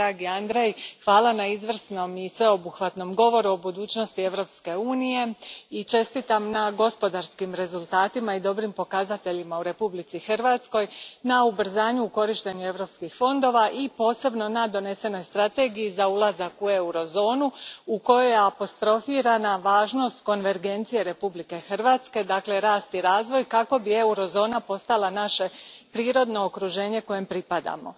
Dragi Andrej, hvala na izvrsnom i sveobuhvatnom govoru o budućnosti Europske unije i čestitam na gospodarskim rezultatima i dobrim pokazateljima u Republici Hrvatskoj, na ubrzanju u korištenju europskih fondova i posebno na donesenoj strategiji za ulazak u eurozonu u kojoj je apostrofirana važnost konvergencije Republike Hrvatske, dakle rast i razvoj, kako bi eurozona postala naše prirodno okruženje kojem pripadamo.